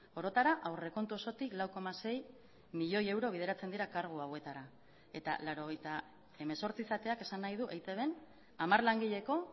orotara aurrekontu osotik lau koma sei milioi euro bideratzen dira kargu hauetara eta laurogeita hemezortzi izateak esan nahi du eitbn hamar langileko